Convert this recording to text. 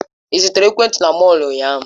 Ị zụtara ekwentị na mọll ụnyaahụ?